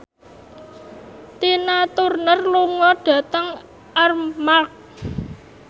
Tina Turner lunga dhateng Armargh